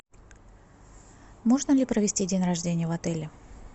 можно ли провести день рождения в отеле